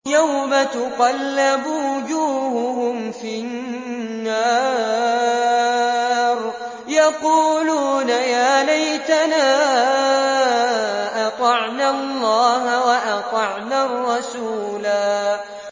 يَوْمَ تُقَلَّبُ وُجُوهُهُمْ فِي النَّارِ يَقُولُونَ يَا لَيْتَنَا أَطَعْنَا اللَّهَ وَأَطَعْنَا الرَّسُولَا